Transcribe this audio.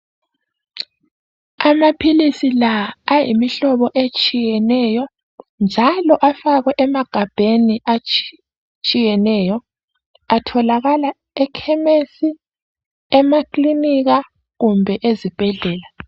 Amaphilisi la ayimhlobo etshiyeneyo, njalo afakwe emagabheni atshiyeneyo. Atholaka ekhemesi emakilinika kumbe ezibhedlela.